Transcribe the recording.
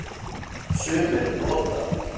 Sumir nota